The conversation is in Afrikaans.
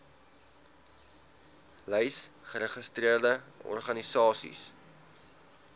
lys geregistreerde organisasies